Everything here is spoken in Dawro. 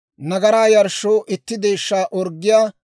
nagaraa yarshshoo itti deeshshaa orggiyaa;